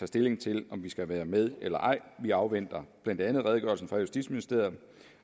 stilling til om vi skal være med eller ej vi afventer blandt andet redegørelsen fra justitsministeriet